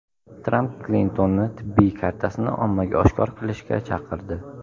Tramp Klintonni tibbiy kartasini ommaga oshkor qilishga chaqirdi .